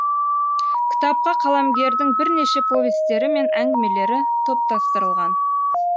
кітапқа қаламгердің бірнеше повестері мен әңгімелері топтастырылған